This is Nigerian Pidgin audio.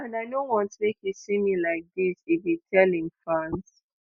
and i no want make you see me like dis" e bin tell im fans.